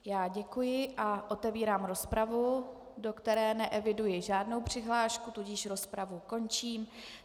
Já děkuji a otevírám rozpravu, do které neeviduji žádnou přihlášku, tudíž rozpravu končím.